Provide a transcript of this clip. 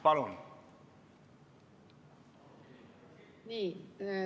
Palun!